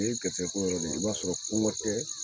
O ye gɛrisigɛ ko yɛrɛ de ye i b'a sɔrɔ kogɔ tɛ